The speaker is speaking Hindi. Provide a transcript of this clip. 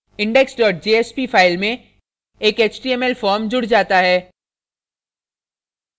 index jsp file में एक html form जुड जाता है